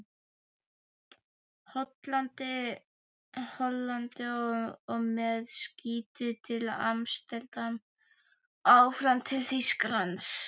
Hollandi og með skútu til Amsterdam og áfram til Þýskalands.